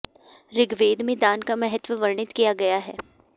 ऋग्वेद में दान का महत्त्व वर्णित किया गया है